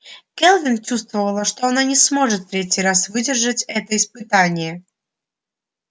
кэлвин чувствовала что она не сможет в третий раз выдержать это испытание